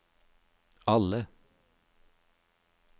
alle